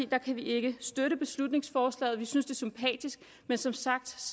kan vi ikke støtte beslutningsforslaget vi synes det er sympatisk men som sagt